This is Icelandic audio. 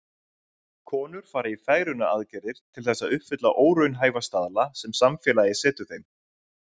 Konur fara í fegrunaraðgerðir til þess að uppfylla óraunhæfa staðla sem samfélagið setur þeim.